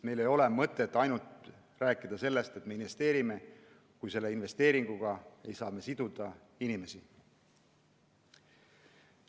Meil ei ole mõtet rääkida sellest, et me investeerime, kui me investeeringutega ei saa siduda inimesi.